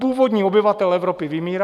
Původní obyvatel Evropy vymírá.